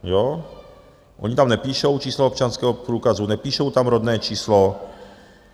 Oni tam nepíšou číslo občanského průkazu, nepíšou tam rodné číslo.